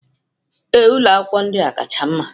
Ee, ụlọ akwụkwọ ndị a kacha mma